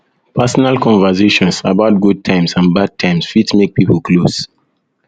personal conversations personal conversations about good times and bad times fit make pipo close